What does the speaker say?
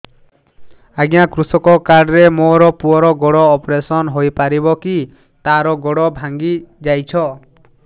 ଅଜ୍ଞା କୃଷକ କାର୍ଡ ରେ ମୋର ପୁଅର ଗୋଡ ଅପେରସନ ହୋଇପାରିବ କି ତାର ଗୋଡ ଭାଙ୍ଗି ଯାଇଛ